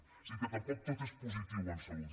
o sigui que tampoc tot és positiu en salut